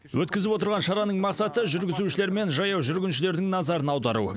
өткізіп отырған шараның мақсаты жүргізушілер мен жаяу жүргіншілердің назарын аудару